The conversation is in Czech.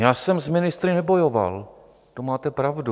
Já jsem s ministry nebojoval, to máte pravdu.